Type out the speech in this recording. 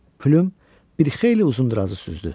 Plyum bir xeyli uzun drazı süzdü.